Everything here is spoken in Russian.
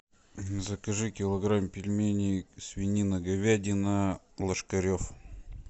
закажи килограмм пельменей свинина говядина ложкарев